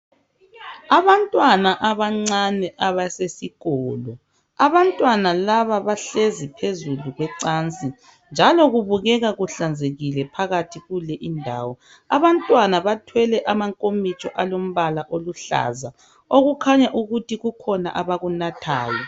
Abantwana abancane abesesikolo, abantwana laba behlezi phezulu kwecansi njalo kubukeka kuhlanzekile phakathi kule indawo. Abantwana bathwele amankomitsho alombala oluhlaza, okukhanya ukuthi kukhona abakunathayo.